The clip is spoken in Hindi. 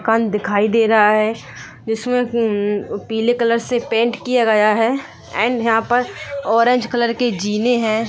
दुकान दिखाई दे रहा है जिसमे ऊ म पीले कलर से पेंट गया है एंड यहां पर ऑरेंज कलर के जीने है।